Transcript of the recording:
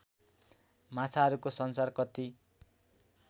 माछाहरूको संसार कति